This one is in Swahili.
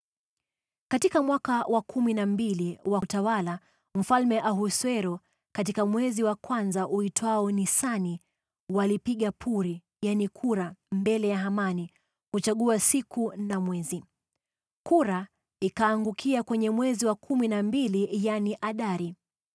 Katika mwaka wa kumi na mbili wa utawala wa Mfalme Ahasuero, katika mwezi wa kwanza uitwao Nisani, walipiga puri (yaani kura) mbele ya Hamani ili kuchagua siku na mwezi. Kura ikaangukia kwenye mwezi wa kumi na mbili, yaani Adari.